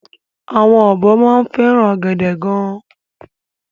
Àwọn ọ̀bọ máa ń fẹ́ràn ọ̀gẹ̀dẹ̀ gan-an.